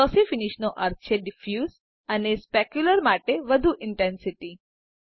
glossy finish નો અર્થ છે ડીફયુસ અને સ્પેક્યુલ્રર માટે વધુ ઇન્ટેન્સીટી